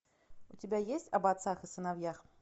у тебя есть об отцах и сыновьях